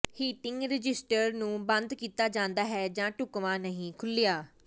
heating register ਨੂੰ ਬੰਦ ਕੀਤਾ ਜਾਂਦਾ ਹੈ ਜਾਂ ਢੁਕਵਾਂ ਨਹੀਂ ਖੁੱਲ੍ਹਿਆ